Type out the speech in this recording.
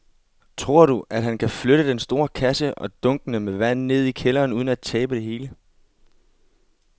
Tror du, at han kan flytte den store kasse og dunkene med vand ned i kælderen uden at tabe det hele?